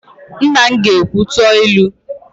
Nna m ga-ekwu, "tụọ otu ilu"!